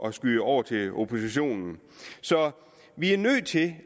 at skyde over til oppositionen vi er nødt til